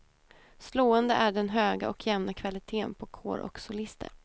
Slående är den höga och jämna kvaliteten på kår och solister.